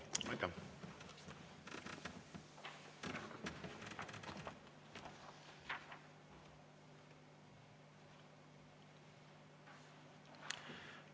Aitäh!